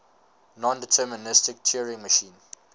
nondeterministic turing machine